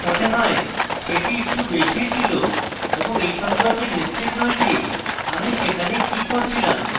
আমার মনে হয় সেটি একটু বেশীই ছিল এবং আমি এই সম্পর্কে নিশ্চিত নই যে আমি সেখানে কি করছিলাম